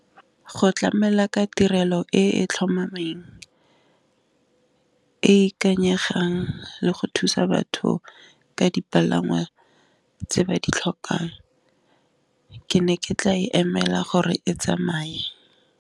Go tlamela ka tirelo e e tlhomameng, e ikanyegang, le go thusa batho ka dipalangwa tse ba di tlhopang ke ne ke tla e emela gore e tsamaye.